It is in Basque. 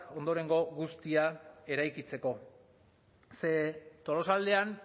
ondorengo guztia eraikitzeko ze tolosaldean